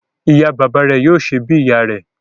Ìyá bàbá rẹ̀ yóò ṣè bí ìyá rè